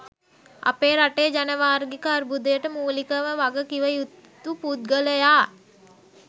අපේ රටේ ජනවාර්ගික අර්බූදයට මූලිකව වග කිව යුතු පුද්ගලයා.